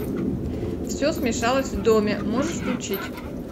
все смешалось в доме можешь включить